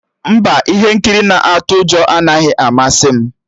Mba, ihe nkiri na-atụ ụjọ anaghị amasị m